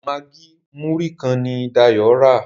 Maggi Muri kán ní Dayo rà.